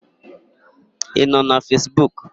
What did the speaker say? Ị nọ na Fesbuk?